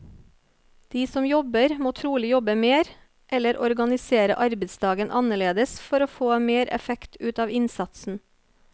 De som jobber må trolig jobbe mer, eller organisere arbeidsdagen annerledes for å få mer effekt ut av innsatsen.